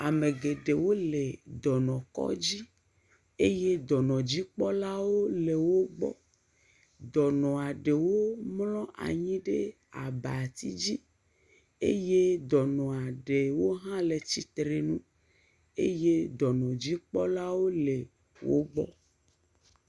Ame geɖewo le dɔnɔkɔdzi eye dɔnɔdzikpɔlawo le wogbɔ. Dɔnɔ aɖewo mlɔ̃ anyi ɖe abatidzi eye dɔnɔ aɖewo hã le tsitrenu eye dɔnɔdzikpɔlawo le wogbɔ.